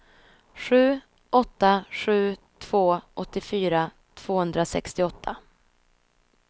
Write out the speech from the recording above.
sju åtta sju två åttiofyra tvåhundrasextioåtta